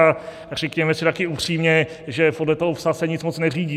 A řekněme si také upřímně, že podle toho "psa" se nic moc neřídí.